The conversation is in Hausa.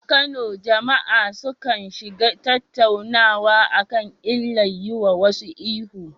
A Kano, jama’a sukan shiga tattaunawa kan illar yiwa wasu ihu.